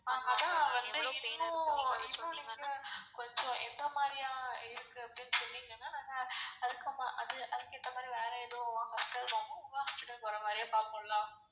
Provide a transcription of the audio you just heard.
அதான் வந்து இன்னும் நீங்க கொஞ்சம் எந்த மாதிரியா இருக்குறது அப்டினு சொன்னிங்கனா நாங்க அதுக்கு அதுக்கு ஏத்தமாரி வேற எதுவும் உங்க hospital க்கு வர மாதிரியே பாப்போம் ல.